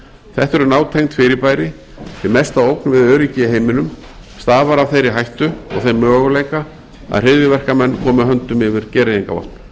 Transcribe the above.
þetta eru nátengd fyrirbæri því mesta ógn við öryggi í heiminum stafar af þeirri hættu og þeim möguleika að hryðjuverkamenn komi höndum yfir gereyðingarvopn